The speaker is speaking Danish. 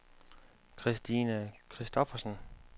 Kristina Christophersen